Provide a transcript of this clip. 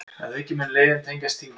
Að auki mun leiðin tengjast Þingum